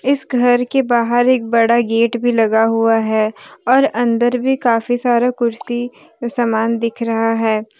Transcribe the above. इस घर के बाहर एक बड़ा गेट भी लगा हुआ है और अंदर भी काफी सारे कुर्सी समान दिख रहा है।